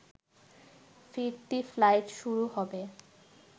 ফিরতি ফ্লাইট শুরু হবে